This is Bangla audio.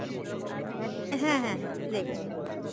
হ্যা হ্যা দেখে নিন